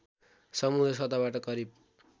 समुन्द्र सतहबाट करिव